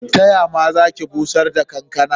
Ta ya ma za ki bushar da kankana?